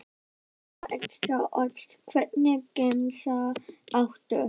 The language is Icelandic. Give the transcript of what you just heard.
Skinku og extra ost Hvernig gemsa áttu?